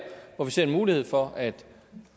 hvor vi ser en mulighed for at